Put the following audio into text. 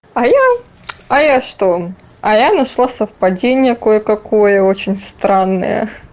а я а я что а я нашла совпадение кое-какое очень странное